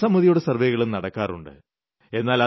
ജനസമ്മിതിയുടെ സർവ്വേകളും നടക്കാറുണ്ട്